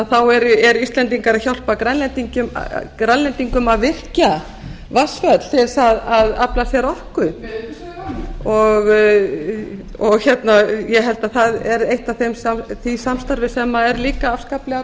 þá eru íslendingar að hjálpa grænlendingum að virkja vatnsföll til þess að afla sér orku ég held að það sé eitt af því samstarfi sem er líka afskaplega